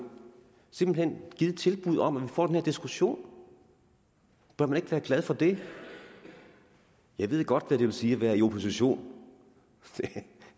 simpelt hen har givet et tilbud om at vi får den her diskussion bør man ikke være glad for det jeg ved godt hvad det vil sige at være i opposition